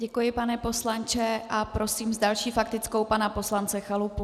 Děkuji, pane poslanče, a prosím s další faktickou pana poslance Chalupu.